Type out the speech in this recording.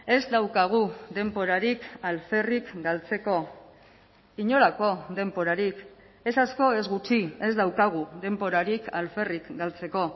ez daukagu denborarik alferrik galtzeko inolako denborarik ez asko ez gutxi ez daukagu denborarik alferrik galtzeko